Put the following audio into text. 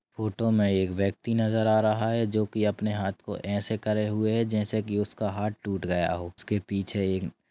photo मे एक व्यक्ति नजर आ रहा है जो कि अपने हाथ को ऐसे करे हुए है जैसे की उसका हाथ टूट गया हो उसके पीछे एक--